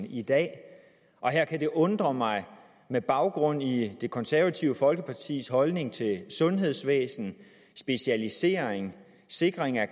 i dag her kan det undre mig med baggrund i det konservative folkepartis holdning til sundhedsvæsen specialisering sikring af